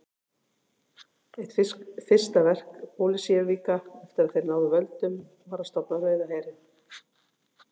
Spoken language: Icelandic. Eitt fyrsta verk Bolsévíka eftir að þeir náðu völdum var að stofna Rauða herinn.